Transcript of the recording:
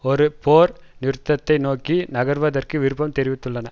ஒரு போர் நிறுத்தத்தை நோக்கி நகர்வதற்கு விருப்பம் தெரிவித்துள்ளன